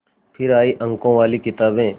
फिर आई अंकों वाली किताबें